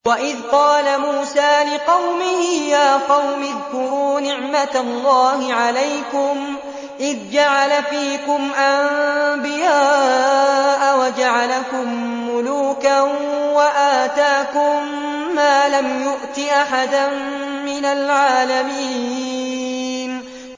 وَإِذْ قَالَ مُوسَىٰ لِقَوْمِهِ يَا قَوْمِ اذْكُرُوا نِعْمَةَ اللَّهِ عَلَيْكُمْ إِذْ جَعَلَ فِيكُمْ أَنبِيَاءَ وَجَعَلَكُم مُّلُوكًا وَآتَاكُم مَّا لَمْ يُؤْتِ أَحَدًا مِّنَ الْعَالَمِينَ